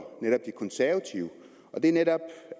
netop de konservative det er netop